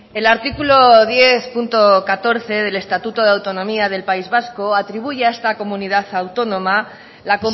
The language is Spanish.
el artículo diez punto catorce del estatuto de autonomía del país vasco atribuye a esta comunidad autónoma la